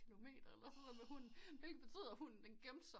Kilometer eller sådan noget med hunden hvilket betyder at hunden gemte sig